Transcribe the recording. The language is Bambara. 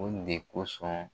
Olu de kosɔn